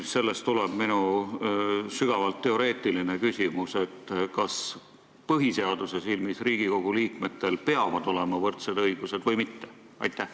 Sellest tuleneb minu sügavalt teoreetiline küsimus: kas põhiseaduse silmis peavad Riigikogu liikmetel olema võrdsed õigused või mitte?